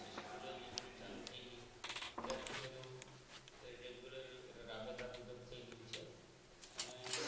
સ્કૂલો જે બધી ચાલુ થઈ ગઈ ત્યારથી બધું regular રાબેતા મુજબ થઈ ગયું છે અને